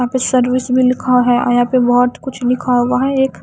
यहां पे सर्विस भी लिखा है आ यहां पर बहोत कुछ लिखा हुआ एक--